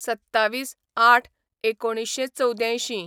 २७/०८/१९८४